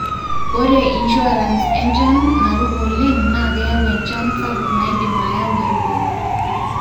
ore insurance e chan naruko oleng naa keyau enchan sapuk naidim ayau eruko